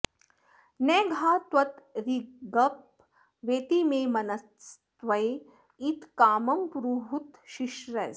न घा त्वद्रिगप वेति मे मनस्त्वे इत्कामं पुरुहूत शिश्रय